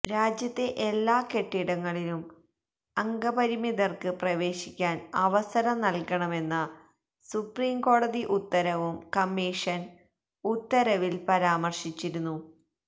രാജ്യത്തെ എല്ലാ കെട്ടിടങ്ങളിലും അംഗപരിമിതര്ക്ക് പ്രവേശിക്കാന് അവസരം നല്കണമെന്ന സുപ്രീംകോടതി ഉത്തരവും കമ്മീഷന് ഉത്തരവില് പരാമര്ശിച്ചിരുന്നു